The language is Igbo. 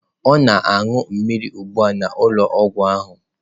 Ọ na-aṅụ mmiri ugbu a n'ụlọọgwụ ahụ.